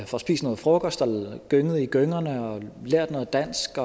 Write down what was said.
får spist noget frokost gynget i gyngerne lært noget dansk